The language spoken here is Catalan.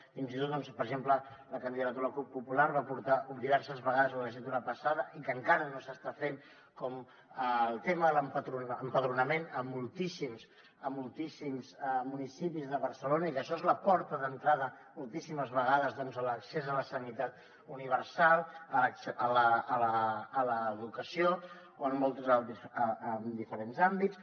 fins i tot per exemple la candidatura de la cup popular ho va portar diverses vegades la legislatura passada i que encara no s’està fent com el tema de l’empadronament a moltíssims a moltíssims municipis de barcelona i que això és la porta d’entrada moltíssimes vegades a l’accés a la sanitat universal a l’educació o en diferents àmbits